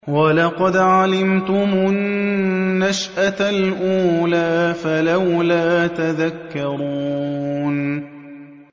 وَلَقَدْ عَلِمْتُمُ النَّشْأَةَ الْأُولَىٰ فَلَوْلَا تَذَكَّرُونَ